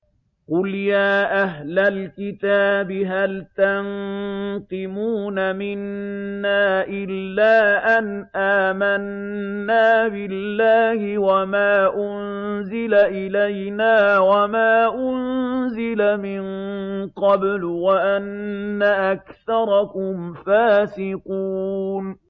قُلْ يَا أَهْلَ الْكِتَابِ هَلْ تَنقِمُونَ مِنَّا إِلَّا أَنْ آمَنَّا بِاللَّهِ وَمَا أُنزِلَ إِلَيْنَا وَمَا أُنزِلَ مِن قَبْلُ وَأَنَّ أَكْثَرَكُمْ فَاسِقُونَ